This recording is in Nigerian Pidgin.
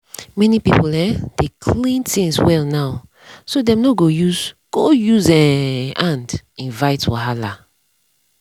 many people um dey clean things well now so dem no go use go use um hand invite wahala.